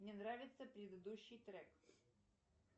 мне нравится предыдущий трек